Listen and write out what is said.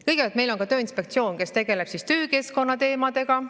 " Kõigepealt, meil on ka Tööinspektsioon, kes tegeleb töökeskkonna teemadega.